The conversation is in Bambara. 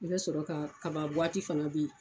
I bɛ sɔrɔ ka kaba buwati fana bɛ ye.